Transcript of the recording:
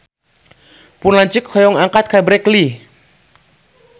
Pun lanceuk hoyong angkat ka Berkeley